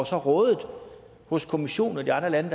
så rådet hos kommissionen og de andre lande